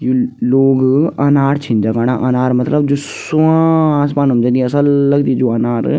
यु लोग अनार छिन जगणा अनार मतलब जू सुवां असमानं जन्दी असल लगदी जू अनार।